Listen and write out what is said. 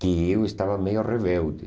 que eu estava meio rebelde.